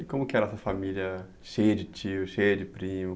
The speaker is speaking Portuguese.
E como que era essa família cheia de tios, cheia de primos?